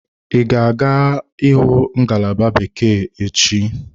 Ị ga-aga ịhụ ngalaba bekee echi?